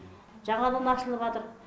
жаңадан ашылыватыр